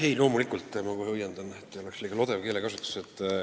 Ei, loomulikult ma kohe õiendan, et keelekasutus ei oleks liiga lodev.